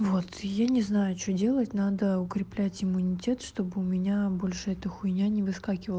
вот и я не знаю что делать надо укреплять иммунитет чтобы у меня больше эта хуйня не выскакивала